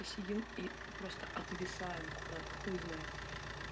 сидим и просто отвисаем куда-то хуй знает